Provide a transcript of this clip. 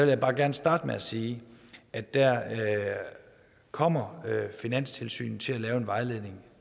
jeg bare gerne starte med at sige at der kommer finanstilsynet til at lave en vejledning